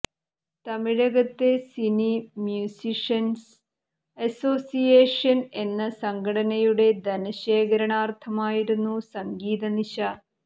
തമിഴകത്തെ cine musicians association എന്ന സംഘടനയുടെ ധനശേഖരണാർത്ഥമായിരുന്നു സംഗീതനിശ